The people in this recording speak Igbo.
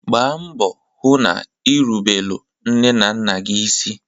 Gbaa mbọ hụ na ina erubelu nne na nna gị isi!